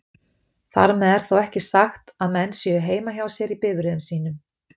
Þar með er þó ekki sagt að menn séu heima hjá sér í bifreiðum sínum.